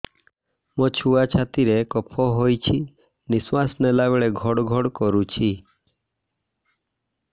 ମୋ ଛୁଆ ଛାତି ରେ କଫ ହୋଇଛି ନିଶ୍ୱାସ ନେଲା ବେଳେ ଘଡ ଘଡ କରୁଛି